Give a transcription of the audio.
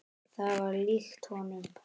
Það var líkt honum.